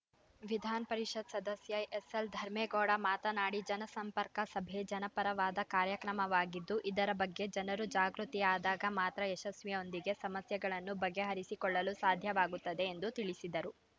ವಿಧಾನಪರಿಷತ್‌ ಸದಸ್ಯ ಎಸ್‌ಎಲ್‌ ಧರ್ಮೇಗೌಡ ಮಾತನಾಡಿ ಜನಸಂಪರ್ಕ ಸಭೆ ಜನಪರವಾದ ಕಾರ್ಯಕ್ರಮವಾಗಿದ್ದು ಇದರ ಬಗ್ಗೆ ಜನರು ಜಾಗೃತಿಯಾದಗ ಮಾತ್ರ ಯಶಸ್ವಿಯೊಂದಿಗೆ ಸಮಸ್ಯೆಗಳನ್ನು ಬಗೆಹರಿಸಿಕೊಳ್ಳಲು ಸಾಧ್ಯವಾಗುತ್ತದೆ ಎಂದು ತಿಳಿಸಿದರು